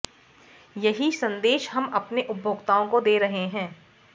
यही संदेश हम अपने उपभोक्ताओं को दे रहे हैं